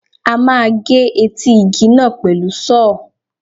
A máa gé etí igi náà pẹ̀lú Sọ́ọ̀.